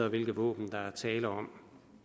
og hvilke våben der er tale om